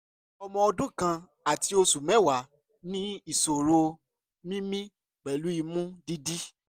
ọmọ ọdún kan àti oṣù mẹ́wàá ní ìṣòro mímí pẹ̀lú imú dídí